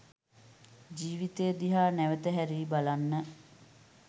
ජීවිතය දිහා නැවත හැරී බලන්න